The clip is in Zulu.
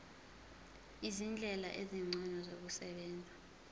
izindlela ezingcono zokusebenza